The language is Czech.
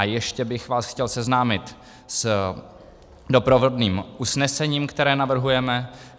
A ještě bych vás chtěl seznámit s doprovodným usnesením, které navrhujeme.